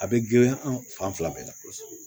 A bɛ girinya an fan fila bɛɛ la